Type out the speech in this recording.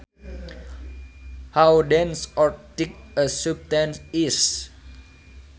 How dense or thick a substance is